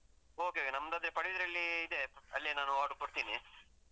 Okay okay , ನಮ್ದದೇ ಪಡುಬಿದ್ರಿಯಲ್ಲಿ ಇದೆ, ಅಲ್ಲೇ ನಾನ್ order ಕೊಡ್ತೀನಿ.